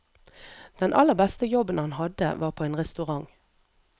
Den aller beste jobben han hadde var på en restaurant.